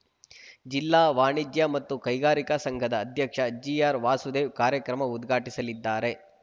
ಜಿಲ್ಲಾ ವಾಣಿಜ್ಯ ಮತ್ತು ಕೈಗಾರಿಕಾ ಸಂಘದ ಅಧ್ಯಕ್ಷ ಜಿಆರ್‌ ವಾಸುದೇವ್‌ ಕಾರ್ಯಕ್ರಮ ಉದ್ಘಾಟಿಸಲಿದ್ದಾರೆ